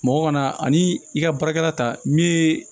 Mɔgɔ kana ani i ka baarakɛla ta min ye